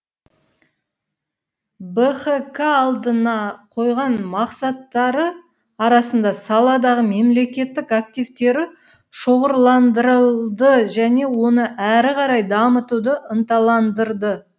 бхк алдына қойған мақсаттары арасында саладағы мемлекеттік активтері шоғырландырылды және оны әрі қарай дамытуды ынталандырды